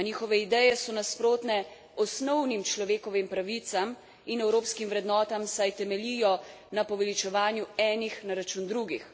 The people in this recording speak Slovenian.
A njihove ideje so nasprotne osnovnim človekovim pravicam in evropskim vrednotam, saj temeljijo na poveličevanju enih na račun drugih.